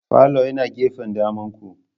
Falo yana gefen damanku.